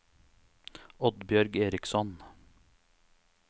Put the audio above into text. Oddbjørg Eriksson